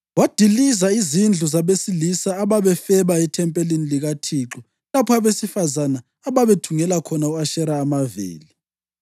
Wadiliza izindlu zabesilisa ababefeba ethempelini likaThixo lapho abesifazane ababethungela khona u-Ashera amaveli.